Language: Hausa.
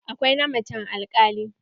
Akwai na macen alkali.